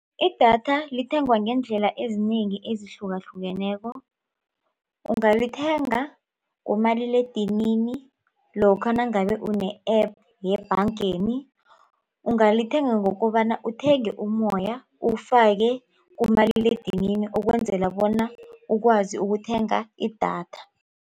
Idatha lithengwa ngeendlela ezinengi ezihlukahlukeneko. Ungalithenga ngomaliledinini lokha nangabe une-App yebhangeni. Ungalithenga ngokobana uthenge ummoya uwufake kumaliledinini ukwenzela bona ukwazi ukuthenga idatha.